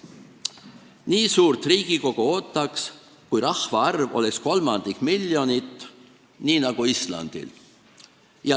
Nii suurt Riigikogu ootaks, kui rahvaarv oleks kolmandik miljonit, nii nagu Islandil.